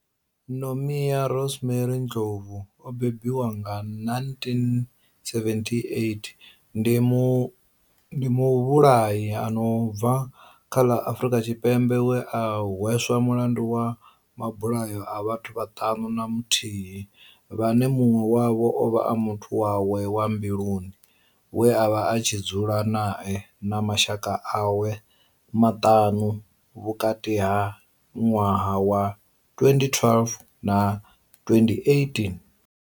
Nomia Rosemary Ndlovu o bebiwaho nga 1978 ndi muvhulahi a no bva kha ḽa Afurika Tshipembe we a hweswa mulandu wa mabulayo a vhathu vhaṱanu na muthihi vhane munwe wavho ovha a muthu wawe wa mbiluni we avha a tshi dzula nae na mashaka awe maṱanu vhukati ha minwaha ya 2012 na 2018.